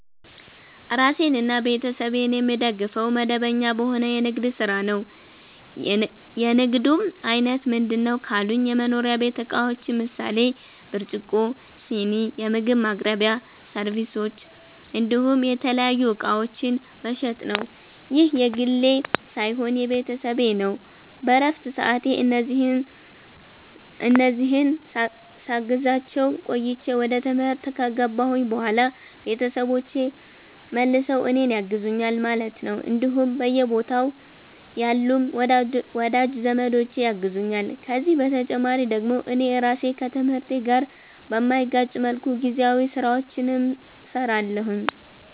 ራሴንና ቤተሰቤን የምደግፈዉ፦ መደበኛ በሆነ የንግድ ስራ ነዉ። የንግዱም አይነት ምንድነዉ ካሉኝ የመኖሪያ ቤት እቃዎችን ምሳሌ፦ ብርጭቆ, ስኒ, የምግብ ማቅረቢያ ሰርቪሶች እንዲሁም የተለያዩ እቃዎችን መሸጥ ነዉ። ይህ የግሌ ሳይሆን የቤተሰብ ነዉ በረፍት ሰዓቴ እነዚህን ሳግዛቸዉ ቆይቼ ወደ ትምህርት ከገባሁኝ በኋላ ቤተሰቦቼ መልሰዉ እኔን ያግዙኛል ማለት ነዉ እንዲሁም በየቦታዉ ያሉም ወዳጅ ዘመዶቼ ያግዙኛል ከዚህ በተጨማሪ ደግሞ እኔ ራሴ ከትምህርቴ ጋር በማይጋጭ መልኩ ጊዜያዊ ስራዎችንም ሰራለሁኝ